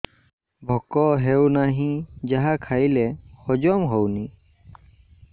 ଭୋକ ହେଉନାହିଁ ଯାହା ଖାଇଲେ ହଜମ ହଉନି